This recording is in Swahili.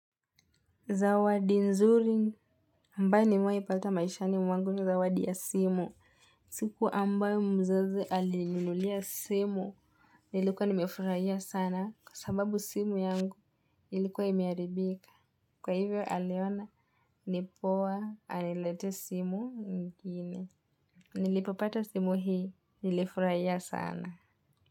Zawadi nzuri ambaye nimewahi pata maishani mwangu ni zawadi ya simu. Siku ambayo mzazi alininunulia simu. Nilikuwa nimefurahia sana kwa sababu simu yangu ilikuwa imeharibika. Kwa hivyo aliona nipoa aniletee simu nyingine. Nilipopata simu hii nilifurahia sana.